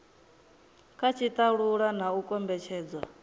kha tshitalula na u kombetshedzwa